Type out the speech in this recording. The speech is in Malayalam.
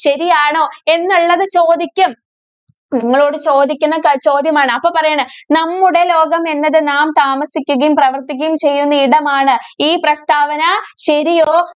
ശരിയാണോ? എന്നുള്ളത് ചോദിക്കും. നിങ്ങളോട് ചോദിക്കുന്ന ക ചോദ്യമാണ്. അപ്പോ പറയണം നമ്മുടെ ലോകം എന്നത് നാം താമസിക്കുകയും, പ്രവര്‍ത്തിക്കുകയും ചെയ്യുന്ന ഇടമാണ്. ഈ പ്രസ്താവന ശരിയോ?